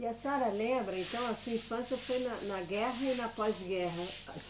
E a senhora lembra, então, a sua infância foi na, na guerra e na pós-guerra?